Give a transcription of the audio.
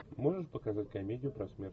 можешь показать комедию про смерть